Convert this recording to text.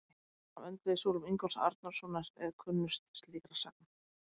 Sagan af öndvegissúlum Ingólfs Arnarsonar er kunnust slíkra sagna.